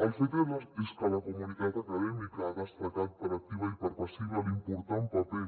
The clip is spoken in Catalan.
el fet és que la comunitat acadèmica ha destacat per activa i per passiva l’important paper